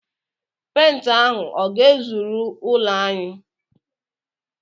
Pent ahụ ọ ga-ezuru ụlọ ahụ?